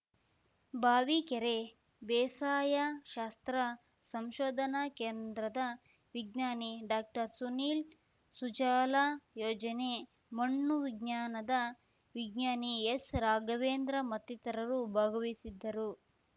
ಭಾವಿಕೆರೆ ಬೇಸಾಯ ಶಾಸ್ತ್ರ ಸಂಶೋಧನಾ ಕೇಂದ್ರದ ವಿಜ್ಞಾನಿ ಡಾಕ್ಟರ್ಸುನೀಲ್‌ ಸುಜಲಾ ಯೋಜನೆ ಮಣ್ಣು ವಿಜ್ಞಾನದ ವಿಜ್ಞಾನಿ ಎಸ್‌ರಾಘವೇಂದ್ರ ಮತ್ತಿತರರು ಭಾಗವಹಿಸಿದ್ದರು